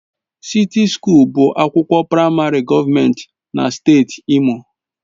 Sịti Sukuul bụ ụlọ akwụkwọ praịmarị gọọmentị na steeti Imo.